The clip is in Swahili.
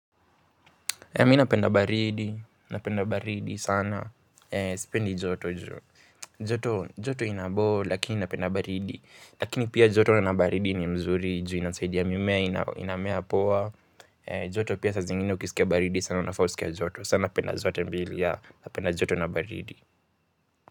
Mimi napenda baridi, napenda baridi sana, spendi joto joo. Joto inaboo lakini napenda baridi. Lakini pia joto na baridi ni mzuri juu inasaidia mimea inamea poa. Joto pia saa zingine ukiskia baridi sana unafaa uskie joto. Saa napenda zote mbili ya, napenda joto na baridi.